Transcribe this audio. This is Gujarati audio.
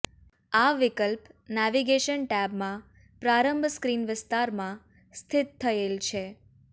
આ વિકલ્પ નેવિગેશન ટૅબમાં પ્રારંભ સ્ક્રીન વિસ્તારમાં સ્થિત થયેલ છે